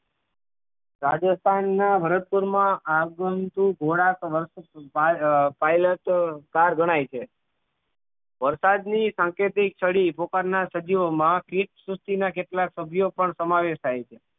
રાજસ્થાન ના હરકપૂર માં આગમન થી ઘોડા તો અ pilote bar ગણાય છે વરસાદ ની સાંકેતિક છડી પુકારનાર સજીવો માં clip સૃષ્ટિ ના કેટલાક સભ્યો પણ સમાવેશ થાય છે